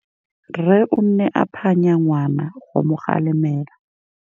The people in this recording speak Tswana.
Rre o ne a phanya ngwana go mo galemela.